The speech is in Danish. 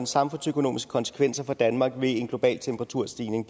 samfundsøkonomiske konsekvenser for danmark ved en global temperaturstigning